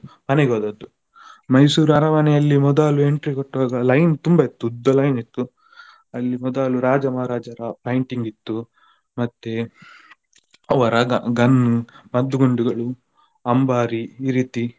ಮನೆಗೆ ಹೋದದ್ದು Mysore ಅರಮನೆಯಲ್ಲಿ ಮೊದಲು entry ಕೊಟ್ಟದ್ದು line ತುಂಬಾ ಇತ್ತು ಉದ್ದ line ಇತ್ತು. ಅಲ್ಲಿ ಮೊದಲು ರಾಜ ಮಹಾರಾಜರ painting ಇತ್ತು ಮತ್ತೆ ಅವರ gun ಮದ್ದು ಗುಂಡುಗಳು ಅಂಬಾರಿ ಈ ರೀತಿ.